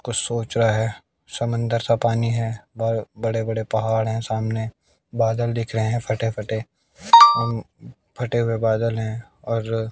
कुछ सोच रहा है समंदर सा पानी है और बड़े बड़े पहाड़ है सामने बादल दिख रहे हैं फटे फटे फटे हुए बादल हैं और --